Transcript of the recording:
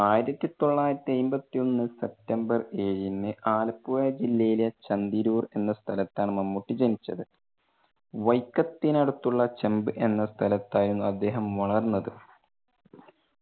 ആയിരത്തി തൊള്ളായിരത്തി അമ്പത്തി ഒന്ന് September ഏഴിന് ആലപ്പുഴ ജില്ലയിലെ ചന്തിരൂർ എന്ന സ്ഥലത്താണ് മമ്മൂട്ടി ജനിച്ചത്. വൈക്കത്തിനടുത്തുള്ള ചെമ്പ് എന്ന സ്ഥലത്തായിരുന്നു അദ്ദേഹം വളർന്നത്.